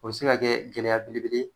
O be se ka kɛ gɛlɛya belebele ye